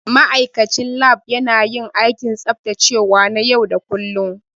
Ma'aikacin Lab yana yin aikin tsaftacewa na yau da kullun.